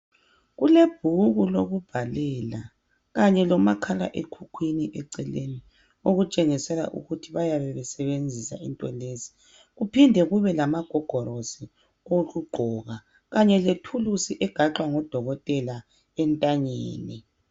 Kulebhuku lokubhalela kanye lomakhala ekhukhwini eceleni ,okutshengisela ukuthi bayabe besebenzisa into lezi kuphinde kube lamagogorosi okugqoka kanje lethuluzi egaxwa ngodokototela entanyeni.